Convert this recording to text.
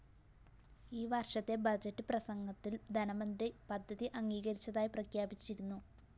ഈ വര്‍ഷത്തെ ബഡ്ജറ്റ്‌ പ്രസംഗത്തില്‍ ധനമന്ത്രി പദ്ധതി അംഗീകരിച്ചതായി പ്രഖ്യാപിച്ചിരുന്നു